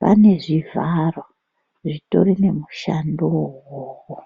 vane zvivharo zvitorine mushando iwowo.